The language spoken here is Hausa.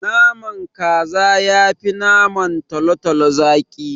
Naman kaza yafi naman talotalo zaki.